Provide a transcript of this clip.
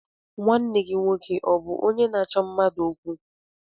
Nwanne gị nwoke ọ bụ onye na-achọ mmadụ okwu?